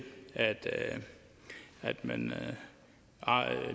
at man